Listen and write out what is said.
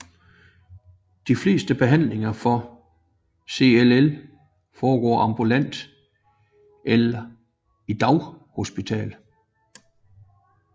De fleste behandlinger for CLL foregår ambulant eller i daghospital